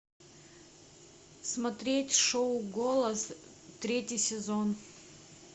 смотреть шоу голос третий сезон